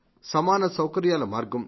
సమాన సౌకర్యాల మార్గం